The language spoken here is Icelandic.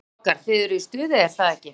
Strákar, þið eruð í stuði er það ekki?